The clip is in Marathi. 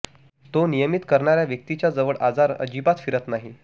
तो नियमित करणाऱ्या व्यक्तीच्या जवळ आजार अजिबात फिरकत नाही